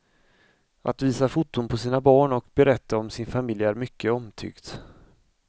Att visa foton på sina barn och berätta om sin familj är mycket omtyckt.